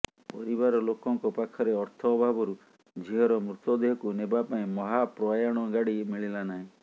ପରିବାର ଲୋକଙ୍କ ପାଖରେ ଅର୍ଥ ଅଭାବରୁ ଝିଅର ମୃତଦେହକୁ ନେବା ପାଇଁ ମହାପ୍ରୟାଣ ଗାଡି ମିଳିଲା ନାହିଁ